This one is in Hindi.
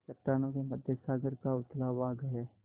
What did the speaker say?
चट्टानों के मध्य सागर का उथला भाग है